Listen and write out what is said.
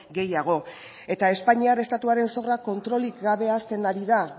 gehiago eta espainiar estatuaren zorra kontrolik gabe hazten ari da